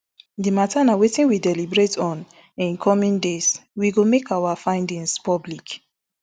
di matter na wetin we deliberate on in di coming days we go make our findings public